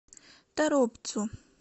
торопцу